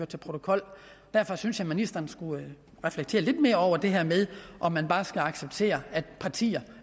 til protokols derfor synes jeg at ministeren skulle reflektere lidt mere over det her med om man bare skal acceptere at partier